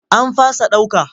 An fasa ɗauka.